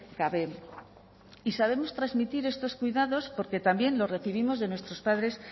gabe y sabemos transmitir estos cuidados porque también los recibimos de nuestros padres